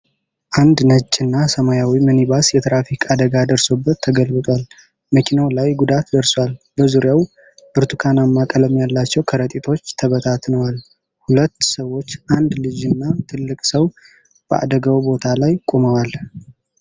አንድ ነጭና ሰማያዊ ሚኒባስ የትራፊክ አደጋ ደርሶበት ተገልብጧል። መኪናው ላይ ጉዳት ደርሷል። በዙሪያው ብርቱካንማ ቀለም ያላቸው ከረጢቶች ተበታትነዋል። ሁለት ሰዎች፣ አንድ ልጅና ትልቅ ሰው፣ በአደጋው ቦታ ላይ ቆመዋል።